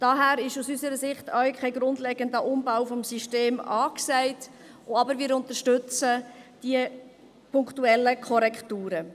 Daher ist aus unserer Sicht auch kein grundlegender Umbau des Systems angesagt, aber wir unterstützen die punktuellen Korrekturen.